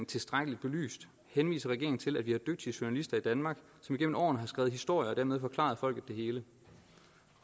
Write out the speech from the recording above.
tilstrækkeligt belyst henviser regeringen til at vi har dygtige journalister i danmark som igennem årene har skrevet historier og dermed forklaret folket det hele